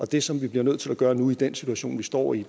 det som vi bliver nødt til at gøre nu i den situation vi står i